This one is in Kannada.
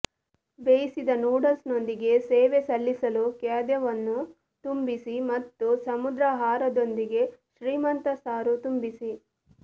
ಬೇಯಿಸಿದ ನೂಡಲ್ಸ್ನೊಂದಿಗೆ ಸೇವೆ ಸಲ್ಲಿಸಲು ಖಾದ್ಯವನ್ನು ತುಂಬಿಸಿ ಮತ್ತು ಸಮುದ್ರಾಹಾರದೊಂದಿಗೆ ಶ್ರೀಮಂತ ಸಾರು ತುಂಬಿಸಿ